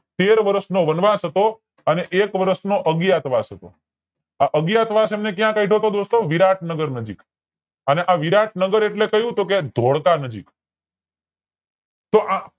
તેર વર્ષ નો વનવાસ હતો અને એક વર્ષ નો અજ્ઞાતવાસ હતો આ અજ્ઞાતવાસ એમને ક્યાં કાઢ્યો તો દોસ્તો અને આ વિરાટ નગર નજીક અને આ વિરાટ નગર એટલે કયું તો કે ધોળકા નજીક તો આ